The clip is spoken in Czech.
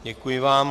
Děkuji vám.